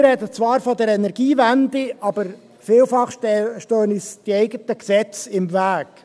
Alle reden zwar von der Energiewende, aber vielfach stehen uns die eigenen Gesetze im Weg.